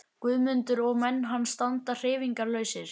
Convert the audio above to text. Guðmundur og menn hans standa hreyfingarlausir.